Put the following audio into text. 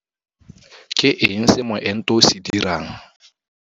Ke eng se moento o se dirang?